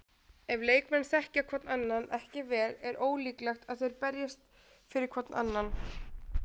Ef leikmenn þekkja hvorn annan ekki vel er ólíklegt að þeir berjist fyrir hvorn annan.